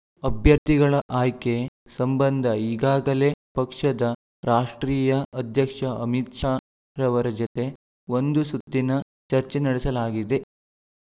ಅಭ್ಯರ್ಥಿಗಳ ಆಯ್ಕೆ ಸಂಬಂಧ ಈಗಾಗಲೇ ಪಕ್ಷದ ರಾಷ್ಟ್ರೀಯ ಅಧ್ಯಕ್ಷ ಅಮಿತ್ ಶಾ ರವರ ಜತೆ ಒಂದು ಸುತ್ತಿನ ಚರ್ಚೆ ನಡೆಸಲಾಗಿದೆ